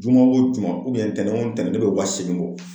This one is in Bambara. Juma o juma ntɛnɛ o ntɛnɛ ne bɛ wa seegin bɔ